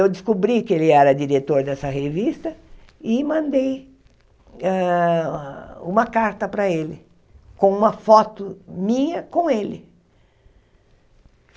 Eu descobri que ele era diretor dessa revista e mandei hã uma carta para ele, com uma foto minha com ele.